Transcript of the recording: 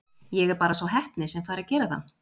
Ég er bara sá heppni sem fær að gera það.